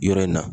Yɔrɔ in na